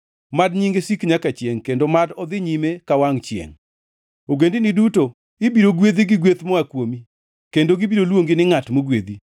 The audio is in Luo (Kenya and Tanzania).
Mad nyinge sik nyaka chiengʼ kendo mad odhi nyime ka wangʼ chiengʼ. Ogendini duto ibiro gwedhi gi gweth moa kuomi kendo gibiro luongi ni ngʼat mogwedhi.